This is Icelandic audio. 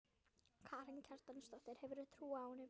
Karen Kjartansdóttir: Hefurðu trú á honum?